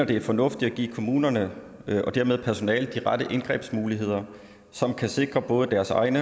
det er fornuftigt at give kommunerne og dermed personalet de rette indgrebsmuligheder som kan sikre både deres egen